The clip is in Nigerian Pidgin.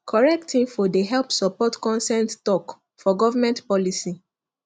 correct info dey help support consent talk for government policy